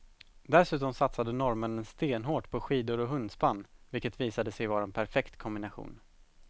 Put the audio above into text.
Dessutom satsade norrmännen stenhårt på skidor och hundspann vilket visade sig vara en perfekt kombination.